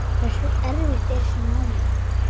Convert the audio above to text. Hversu erfitt er svo námið?